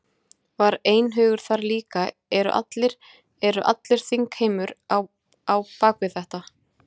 Var einhugur þar líka, eru allir, eru allur þingheimur á á bak við þetta?